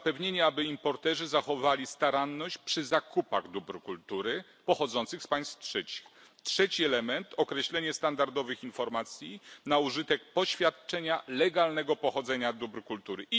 Zapewnienie, aby importerzy zachowywali staranność przy zakupach dóbr kultury pochodzących z państw trzecich. Trzeci element określenie standardowych informacji na użytek poświadczenia legalnego pochodzenia dóbr kultury.